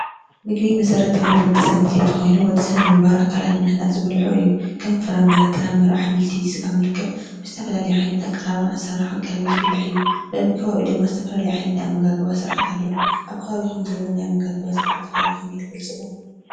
ምግቢ መሰረታዊ ድሌት ወዲ ሰብ ኮይኑ ወድሰብ ንምንባር ኣካላቱ ንምህናፅ ዝበልዖ እዩ ከም ፍራም፣ ጥረ-ምረ፣ ኣሕምልቲ፣ ብስጋ መልክዕ ብዝተፈላለየ ኣቀራርባን ኣሰራርሓን ቀሪቡ ዝብላዕ እዩ። በቢ ከባቢኡ ድማ ዝተፈላለዩ ናይ ኣመጋግባ ስርዓት ኣሎ። ኣብ ከባቢኩም ዘሎ ናይ ኣመጋግባ ስርዓት ከ ብከመይ ትገልፅዎ?